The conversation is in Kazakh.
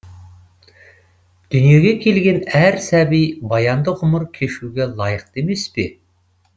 дүниеге келген әр сәби баянды ғұмыр кешуге лайықты емес пе